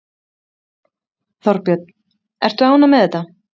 Þorbjörn: Ertu ánægð með þetta?